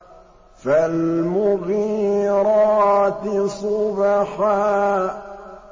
فَالْمُغِيرَاتِ صُبْحًا